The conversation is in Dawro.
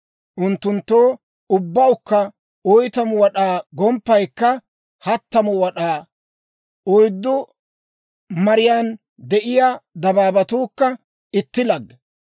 Unttunttoo ubbawukka 40 wad'aa; gomppaykka 30 wad'aa; oyddu mariyaan de'iyaa dabaabatuukka itti lagge.